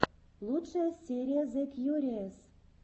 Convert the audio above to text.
лучшая серия зэ кьюриэс